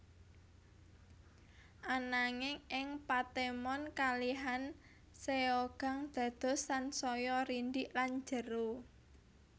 Ananging ing patemon kalihan Seogang dados sansaya rindhik lan jero